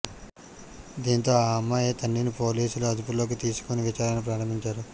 దీంతో ఆ అమ్మాయి తండ్రిని పోలీసులు అదుపులోకి తీసుకుని విచారణ ప్రారంభించారు